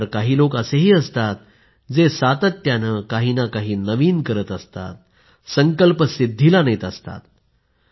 मात्र काही लोक असेही असतात जे सातत्याने काही ना काही नवीन करत असतात संकल्प सिद्धीला नेत असतात